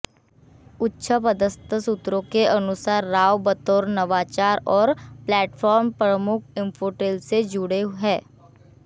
उच्च पदस्थ सूत्रों के अनुसार राव बतौर नवाचार और प्लेटफॉर्म प्रमुख इन्फोटेल से जुड़े हैं